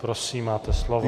Prosím, máte slovo.